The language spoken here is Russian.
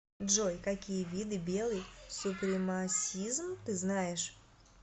джой какие виды белый супремасизм ты знаешь